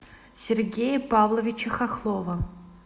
сергея павловича хохлова